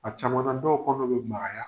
A caman na dɔw kɔnɔ be magaya